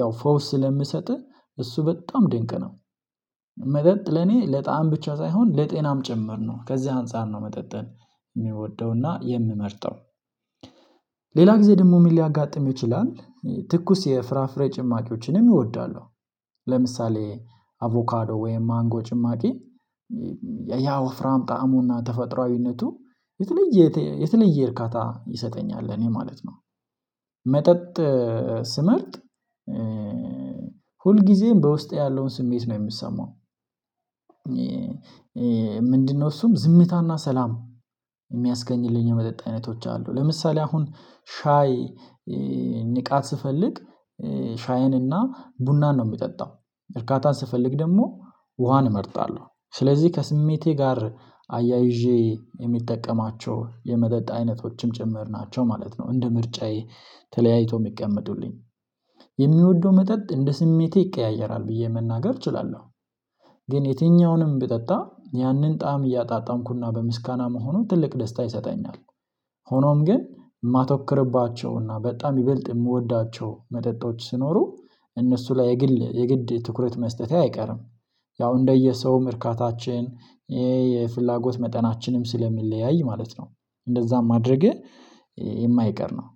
ያው ፈውስ ስለምሰጥህ እሱ በጣም ድንቅ ነው። መጠጥ ለኔ ለጣዕም ብቻ ሳይሆን ለጤናም ጭምር ነው ከዚህ አንፃር ነው መጠጠን የሚወደውና የምመርጠው። ሌላ ጊዜ ደግሞ ምን ሊያጋጥም ይችላል? ትኩስ የፍራፍሬ ጭማቂዎችንም እወዳሉ ለምሳሌ አቮካዶ ወይም ማንጎ ጭማቂ ያ ወፍራም ጣዕሙና ተፈጥሮአዊነቱ የተለየ የተለየ እርካታ ይሰጠኛል ለኔ ማለት ነው። መጠጥ ስመርጥ ሁል ጊዜም በውስጤ ያለውን ስሜት ነው የምሰማው። ምንድነው? እሱም ዝምታና ሰላም የሚያስገኝልኝ የመጠጥ አይነቶች አሉ ለምሳሌ አሁን ሻይ ንቃት ስፈልግ ሻይንና ቡናን ነው የሚጠጣው እርካታን ስፈልግ ደግሞ ውሃን እመርጣለሁ። ስለዚህ ከስሜቴ ጋር አያይዤ የሚጠቀማቸው የመጠጥ አይነቶችም ጭምር ናቸው ማለት ነው። እንደ ምርጫዬ ተለያይቶ የሚቀመጡልኝ የሚወደው መጠጥ እንደ ስሜቴ ይቀያየራል ብዬ መናገር እችላለሁ። ግን የትኛውንም ብጠጣ ያንን ጣዕም እያጣጣምኩና በምስጋና መሆኑ ትልቅ ደስታ ይሰጠኛል። ሆኖም ግን የማተኮርባቸውና በጣም ይበልጥ የምወዳቸው መጠጦች ሲኖሩ እነሱ ላይ የግል የግድ ትኩረት መስጠቴ አይቀርም። ያው እንደየሰው እርካታችን የፍላጎት መጠናችንም ስለሚለያይ ማለት ነው እንደዝያ ማድረጌ የማይቀር ነው።